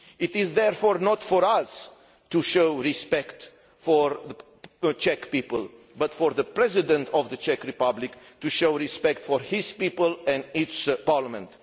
It is therefore not for us to show respect for the Czech people, but for the President of the Czech Republic to show respect for his people and its Parliament.